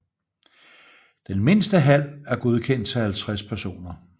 Den mindste hal er godkendt til 50 personer